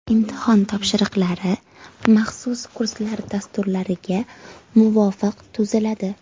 Imtihon topshiriqlari maxsus kurslar dasturlariga muvofiq tuziladi.